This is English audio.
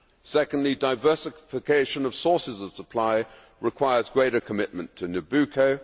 Secondly, diversification of sources of supply requires greater commitment to Nabucco.